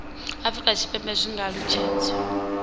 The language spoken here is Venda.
afurika tshipembe zwi nga alutshedziwa